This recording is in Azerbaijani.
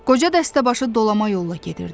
Qoca dəstəbaşı dolama yolla gedirdi.